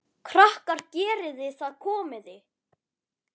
Krakkar geriði það komiði!